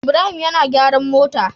Ibrahim yAna gyaran mota